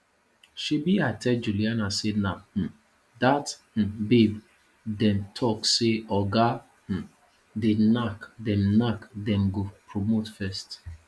shebi i tell juliana say na um dat um babe dem talk say oga um dey knack dem knack dem go promote first